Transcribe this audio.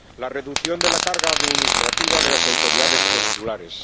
la reducción de la carga administrativa de las autoridades consulares.